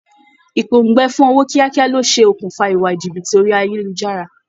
Ìpòǹgbẹ fun ọwọ́ kíákíá ló ṣe okùnfà ìwà jìbìtì orí ayélujára